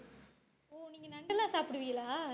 நண்டு எல்லாம் சாப்பிடுவீங்களா